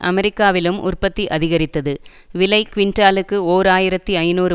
அமெரிக்காவிலும் உற்பத்தி அதிகரித்தது விலை குவிண்டாலுக்கு ஓர் ஆயிரத்தி ஐநூறு